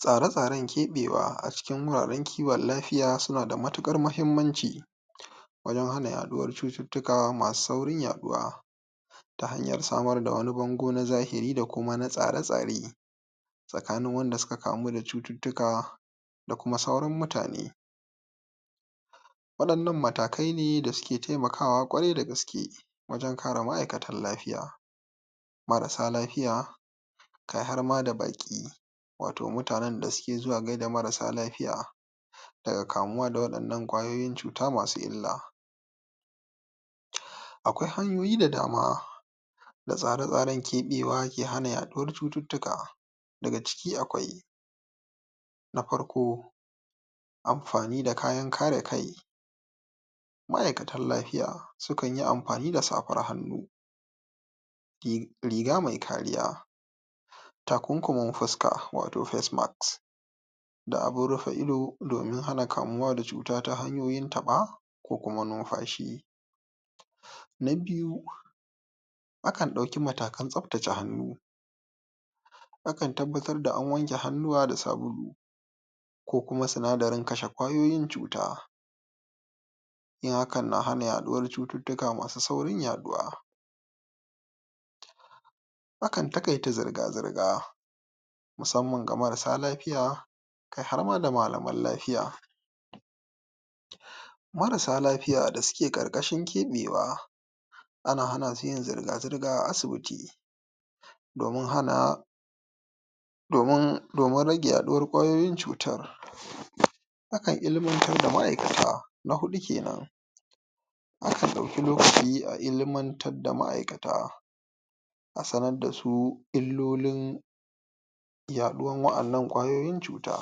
Tsare-tsaren ke'bewa a cikin wuraren kiwon lafiya sunada matu'kar mahimmanci wajen hana yaduwar cututtuka masu saurin yaduwa. Ta hanyar samar da wani bango na zahiri da kuma na tsare-tsare tsakanin wanda suka kamu da cututtuka da kuma sauran mutane. Wadannan matakaine dasuke taimakawa kwarai dagaske wajen kare ma'aikatan lafiya, marasa lafiya, kai harma da ba'ki wato mutanen dasuke zuwa gaida mara lafiya daga kamuwa da wadannan 'kwayoyin cuta masu illa. Akwai hanyoyi da dama da tsare-tsaren ke'bewa ke hana yaduwar cututtuka, daga ciki akwai, Na farko Amfani da kayan kare kai. Ma'aikatan lafiya sukanyi amfani da safar hannu, riga mai kariya, takunkumin fuska wato facemask da abun rufe ido domin hana kamuwa da cuta ta hanyar ta'ba kokuma nunfashi. Na biyu: Akan dauki matakan tsaftace hannu, akan tabbatarda an wanke hannuwa da sabulu kokuma sinadarin kashe 'kwayoyin cuta. Yin haka na hana yaduwan cututtuka masu saurin yaduwa. Akan ta'kaita zurga-zurga musamman ga marasa lafiya kai harma da malaman lafiya. Marasa lafiya dasuke 'kar'kashin kebewa ana hanasu yin zirga-zirga a asibiti domin hana domin rage yaduwar cutar. Akan ilmantar da ma'aikata, na hudu kenan. Akan dauki lokaci a ilmantar da ma'aikata A sanar dasu illolin yaduwan wadannan 'kwayoyin cuta,